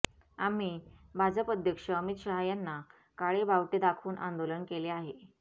आम्ही भाजप अध्यक्ष अमित शहा यांना काळे बावटे दाखवून आंदोलन केले आहे